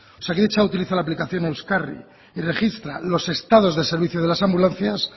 osakidetza utiliza la aplicación euskarri y registra los estados de servicios de las ambulancias